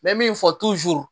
N bɛ min fɔ